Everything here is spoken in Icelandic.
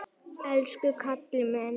Elsku Kalli minn!